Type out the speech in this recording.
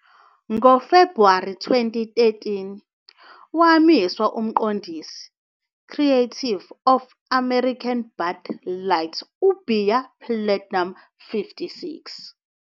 Ngo-February 2013 wamiswa umqondisi creative of American Bud Light ubhiya Platinum.56